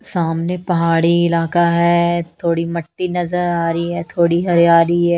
सामने पहाड़ी इलाका है थोड़ी मट्टी नजर आ रही है थोड़ी हरियाली है।